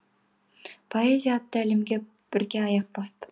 поэзия атты әлемге бірге аяқ бастық